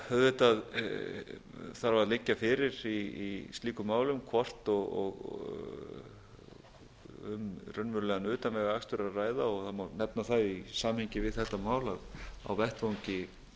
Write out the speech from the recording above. auðvitað þarf að liggja fyrir í slíkum málum hvort um raunverulegan utanvegaakstur er að ræða og það má nefna það í samhengi við þetta mál að á vettvangi